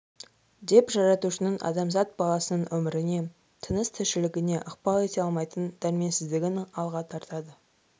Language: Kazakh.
деп жаратушының адамзат баласының өміріне тыныс-тіршілігіне ықпал ете алмайтын дәрменсіздігін алға тартады